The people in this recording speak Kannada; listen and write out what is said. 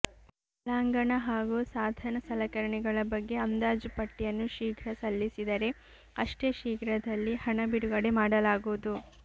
ಒಳಾಂಗಣ ಹಾಗೂ ಸಾಧನ ಸಲಕರಣೆಗಳ ಬಗ್ಗೆ ಅಂದಾಜು ಪಟ್ಟಿಯನ್ನು ಶೀಘ್ರ ಸಲ್ಲಿಸಿದರೆ ಅಷ್ಟೇ ಶೀಘ್ರದಲ್ಲಿ ಹಣ ಬಿಡುಗಡೆ ಮಾಡಲಾಗುವುದು